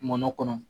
Mɔnɔ kɔnɔ